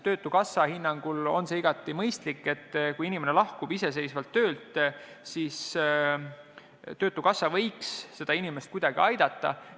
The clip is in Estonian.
Tema hinnangul on see igati mõistlik, et kui inimene ise lahkub töölt, siis töötukassa võiks seda inimest kuidagi aidata.